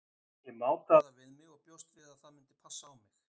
Ég mátaði það við mig og bjóst við að það gæti passað á mig.